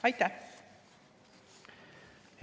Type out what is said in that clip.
Aitäh!